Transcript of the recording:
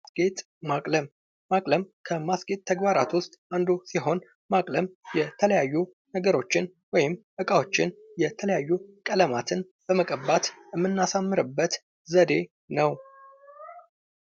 ግጥ ማቅለም:- ማቅለም ከማስጌጥ ተግባራት ዉስጥ አንዱ ሲሆን ማቅለም የተለያዩ ነገሮችን ወይም እቃዎችን የተለያዩ ቀለማትን በመቀባት የምናስዉብበት አይነት ነዉ።